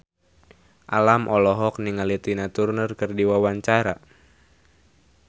Alam olohok ningali Tina Turner keur diwawancara